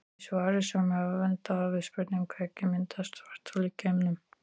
Í svari sömu höfunda við spurningunni Hvernig myndast svarthol í geimnum?